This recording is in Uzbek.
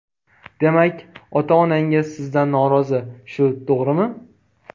Demak, ota-onangiz sizdan norozi, shu to‘g‘rimi?